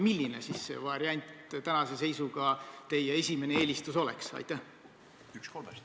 Milline variant tänase seisuga teie esimene eelistus oleks?